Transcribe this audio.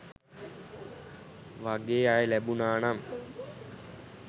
වගෙ අය ලැබුනා නම්